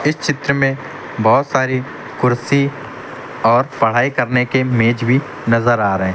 इस चित्र में बहुत सारी कुर्सी और पढ़ाई करने के मेज भी नजर आ रहे हैं।